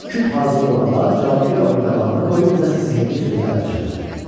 Küp hazır olanda cadugar onun qabağına qoyub nəsə sehrli sözlər pıçıldadı.